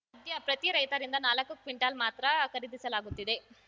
ಸದ್ಯ ಪ್ರತಿ ರೈತರಿಂದ ನಾಲ್ಕು ಕ್ವಿಂಟಾಲ್‌ ಮಾತ್ರ ಖರೀದಿಸಲಾಗುತ್ತಿದೆ